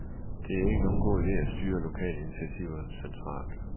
Det er ikke nogen god ide at styre lokale initiativer centralt.